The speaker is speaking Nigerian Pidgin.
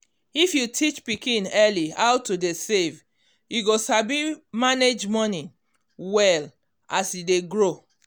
if you teach pikin early how to dey save e go sabi manage money well as e dey grow.